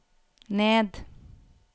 ned